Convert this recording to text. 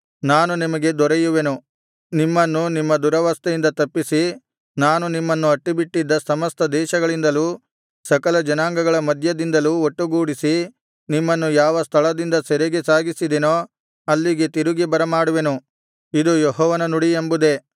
ನಾನು ನಿಮಗೆ ದೊರೆಯುವೆನು ನಿಮ್ಮನ್ನು ನಿಮ್ಮ ದುರವಸ್ಥೆಯಿಂದ ತಪ್ಪಿಸಿ ನಾನು ನಿಮ್ಮನ್ನು ಅಟ್ಟಿಬಿಟ್ಟಿದ್ದ ಸಮಸ್ತ ದೇಶಗಳಿಂದಲೂ ಸಕಲಜನಾಂಗಗಳ ಮಧ್ಯದಿಂದಲೂ ಒಟ್ಟುಗೂಡಿಸಿ ನಿಮ್ಮನ್ನು ಯಾವ ಸ್ಥಳದಿಂದ ಸೆರೆಗೆ ಸಾಗಿಸಿದೆನೋ ಅಲ್ಲಿಗೆ ತಿರುಗಿ ಬರಮಾಡುವೆನು ಇದು ಯೆಹೋವನ ನುಡಿ ಎಂಬುದೇ